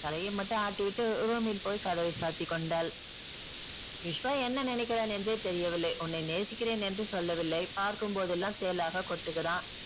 தலையை மட்டும் ஆட்டிவிட்டு room ல் போய் கதவை சாத்திக்கொண்டாள் விஷ்வா என்ன நினைக்கிறான் என்றே தெரியவில்லை உன்னை நேசிக்கிறேன் என்று சொல்லவில்லை பார்க்கும்போதெல்லாம் தேளாக கொட்டுகிறான்